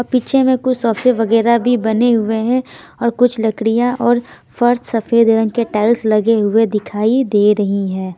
पीछे में कुछ सोफे वगैरह भी बने हुए हैं और कुछ लकड़ियां और फर्श सफेद रंग के टाइल्स लगे हुए दिखाई दे रही हैं।